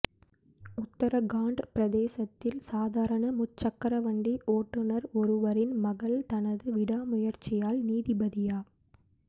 உத்தரகாண்ட் பிரதேசத்தில் சாதாரண முச்சக்கரவண்டி ஓட்டுநர் ஒருவரின் மகள் தனது விடாமுயற்சியால் நீதிபதியா